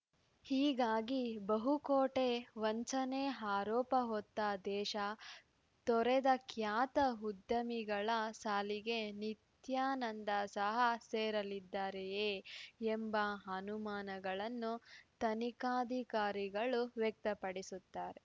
ಹೀಗಾಗಿ ಬಹುಕೋಟೆ ವಂಚನೆ ಆರೋಪ ಹೊತ್ತ ದೇಶ ತೊರೆದ ಖ್ಯಾತ ಉದ್ಯಮಿಗಳ ಸಾಲಿಗೆ ನಿತ್ಯಾನಂದ ಸಹ ಸೇರಲಿದ್ದಾರೆಯೇ ಎಂಬ ಅನುಮಾನಗಳನ್ನು ತನಿಖಾಧಿಕಾರಿಗಳು ವ್ಯಕ್ತಪಡಿಸುತ್ತಾರೆ